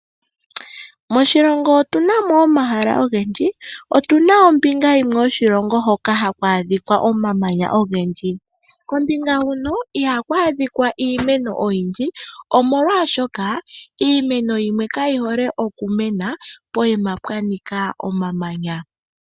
Moshilongo otu namo omahala ogendji. Otunamo ombinga yimwe yoshilongo hoka haku adhika omamanya ogendji kombinga huno ihaku adhika iimeno oyindji omolwashoka iimeno yimwe kayi hole oku mena poima pwanika omamanya.